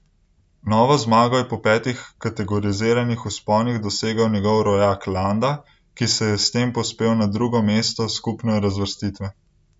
Novo zmago je po petih kategoriziranih vzponih dosegel njegov rojak Landa, ki se je s tem povzpel na drugo mesto skupno razvrstitve.